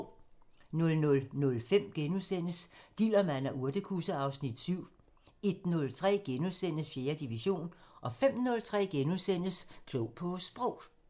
00:05: Dillermand og urtekusse (Afs. 7)* 01:03: 4. division * 05:03: Klog på Sprog *